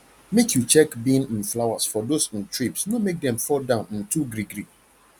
make you check bean um flowers for those um thrips no make dem fall down um too greegree